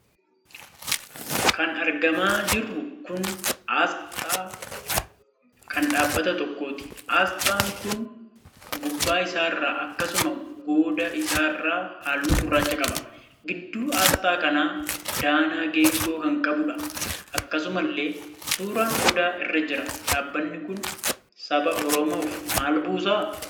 Kan argamaa jiru kun Astaa kan dhaabbata tokkooti. Astaan kun gubbaa isaarraa, akkasumas goda isaarraa halluu gurraacha qaba. Gidduun astaa kanaa danaa geengoo kan qabuudha. Akkasumallee suuraan Odaa irra jira. Dhaabbanni kun saba Oromoof maal buusaa?